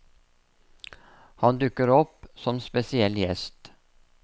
Han dukker opp som spesiell gjest.